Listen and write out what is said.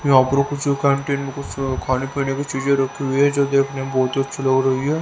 यहां पर कुछ कैंटीन में कुछ खाने पीने की चीज रखी हुई हैं जो देखने में बहुत ही अच्छी लग रही है।